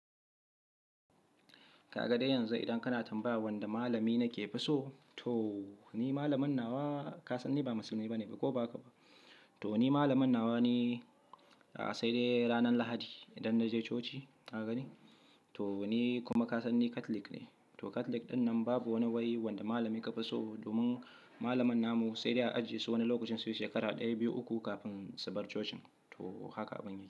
Ka ga yanzu idan kana tambaya wanda malami nake fi so? To ni malamin nawa ka san ni ba musulmi bane ko ba haka ba? To ni malamin nawa ni, sai dai ranar Lahadi idan na je coci, ka gani. To ni kuma ka san ni Catholic ne. To Catholic ɗinnan babu wani wuri wanda malami ka fi so domin malaman namu sai dai a ajiye su wani lokacin sai shekara ɗaya, biyu, uku kafin su bar cocin. To haka abun yake.